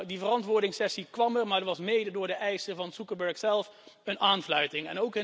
Nou, die verantwoordingssessie kwam er, maar was mede door de eisen van Zuckerberg zelf een aanfluiting.